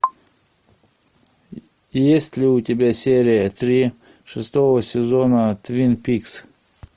есть ли у тебя серия три шестого сезона твин пикс